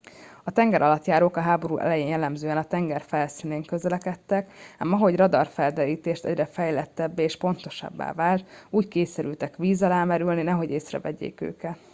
a tengeralattjárók a háború elején jellemzően a tenger felszínén közlekedtek ám ahogy a radarfelderítés egyre fejlettebbé és pontosabbá vált úgy kényszerültek víz alá merülni nehogy észrevegyék őket